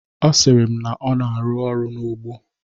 Ọ sịrị m n' ọ nọ ọrụ n'ugbo.